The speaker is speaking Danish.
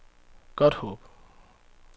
Godthåb